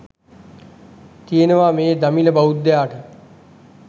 තියෙනවා මේ දමිළ බෞද්ධයාට.